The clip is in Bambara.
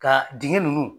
Ka dingɛ nunnu